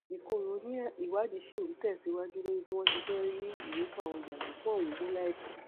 ìkorò ni ìwádìí ṣì ń tẹsíwájú lórí bí wọn ṣe fẹẹ rí ìyókù àwọn jàǹdùkú ọhún mú láìpẹ